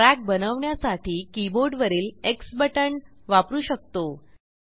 trackबनवण्यासाठी कीबोर्डवरील Xबटण वापरू शकतो